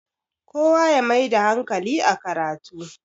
kowa ya Maida hankali a karatu